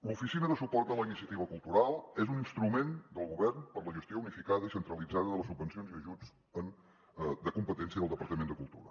l’oficina de suport a la iniciativa cultural és un instrument del govern per la gestió unificada i centralitzada de les subvencions i ajuts de competència del departament de cultura